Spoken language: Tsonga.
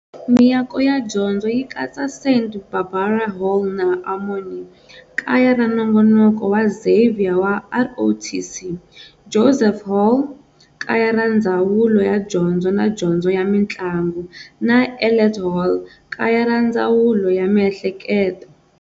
Miako ya dyondzo yi katsa-St. Barbara Hall na Armory, kaya ra nongonoko wa Xavier wa ROTC, Joseph Hall, Kaya ra Ndzawulo ya Dyondzo na Dyondzo ya Mintlangu, na Elet Hall, kaya ra Ndzawulo ya Miehleketo.